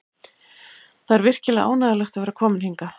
Það er virkilega ánægjulegt að vera kominn hingað.